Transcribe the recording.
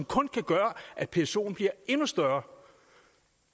kun kan gøre at psoen bliver endnu større